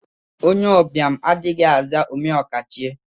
Onye ụbịam adịghị aza omeokachie.